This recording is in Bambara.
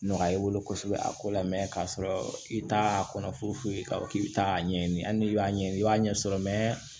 Nɔgɔya i bolo kosɛbɛ a ko la k'a sɔrɔ i t'a kɔnɔ foyi k'a fɔ k'i bi taa ɲɛɲini hali ni y'a ɲɛɲini i b'a ɲɛ sɔrɔ